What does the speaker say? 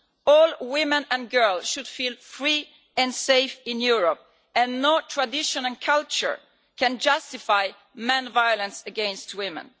All women and girls should feel free and safe in Europe, and no tradition or culture can justify men's violence against women.